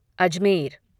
Ajmer